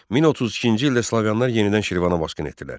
1032-ci ildə Slaviyalılar yenidən Şirvana basqın etdilər.